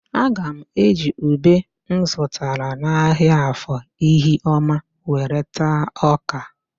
Aga m eji ube m zụtara n'ahịa Afọ Ihioma were taa ọ́kà.